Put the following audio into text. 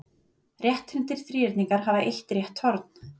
Rétthyrndir þríhyrningar hafa eitt rétt horn.